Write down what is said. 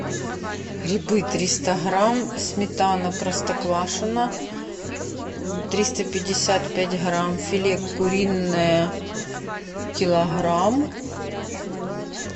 грибы триста грамм сметана простоквашино триста пятьдесят пять грамм филе куриное килограмм